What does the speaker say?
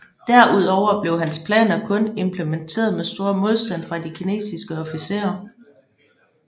Derudover blev hans planer kun implementeret mod stor modstand fra de kinesiske officerer